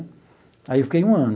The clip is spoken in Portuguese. Aí, eu fiquei um ano.